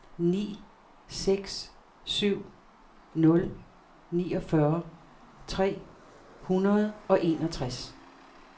ni seks syv nul niogfyrre tre hundrede og enogtres